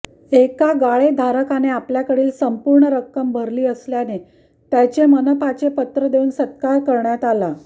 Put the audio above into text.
एका गाळेधारकाने आपल्याकडील संपूर्ण रक्कम भरली असल्याने त्याचे मनपाचे पत्र देवून सत्कार करण्यात आला